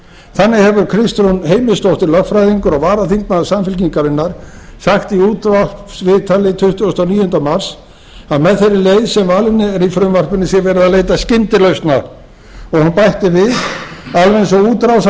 þannig hefur kristrún heimisdóttir lögfræðingur og varaþingmaður samfylkingarinnar sagt í útvarpsviðtali tuttugasta og níunda mars að með þeirri leið sem valin er í frumvarpinu sé verið að leita skyndilausna og hún bætti við alveg eins